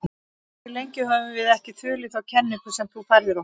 Hversu lengi höfum við ekki þulið þá kenningu sem þú færðir okkur?